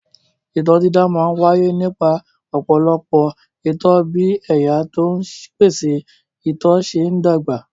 Itọ́ dídà máa ń wáyé nípa ọ̀pọ̀lọpọ̀ itọ́ bí ẹ̀yà tó ń pèsè itọ́ ṣe ń dàgbà.